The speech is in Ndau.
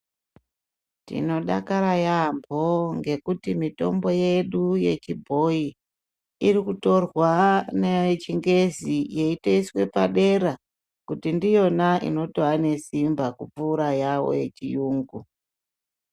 Tinodakara yaampo ngekuti mitombo yedu yechibhoyi iri kutorwa naye chingezi yeitoiswe padera kuti ndiyona inotowa nesimba kupfuura yawo yechiyungu.